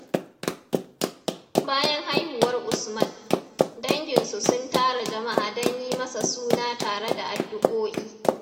Bayan haihuwar Usman, dangin su sun tara jama’a don yi masa suna tare da addu’o’i.